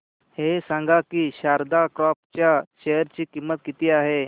हे सांगा की शारदा क्रॉप च्या शेअर ची किंमत किती आहे